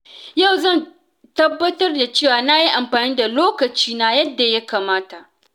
Yau zan tabbatar da cewa na yi amfani da lokaci na yadda ya kamata.